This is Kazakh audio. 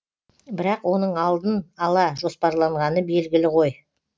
бірақ оның алдын ала жоспарланғаны белгілі ғой